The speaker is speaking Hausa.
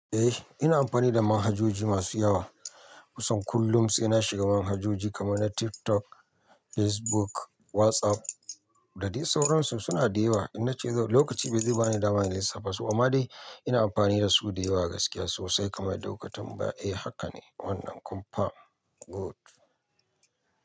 Eh ina amfani da manhajoji masu yawa. Kusan kullum saina shiga manhajoji kamar na TikTok, Facebook, WhatsApp da dai sauransu. Suna da yawa. Ina ce zan lokaci bazai ba ni dama in lissafa su amma dai ina amfani da su da yawa gaskiya sosai kamar da lokacin baya. Eh haka ne wannan kum fam good.